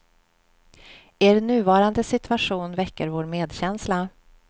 Er nuvarande situation väcker vår medkänsla.